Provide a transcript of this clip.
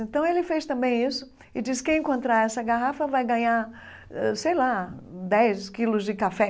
Então ele fez também isso e disse que quem encontrar essa garrafa vai ganhar, ãh sei lá, dez quilos de café.